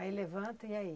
Aí levanta e aí?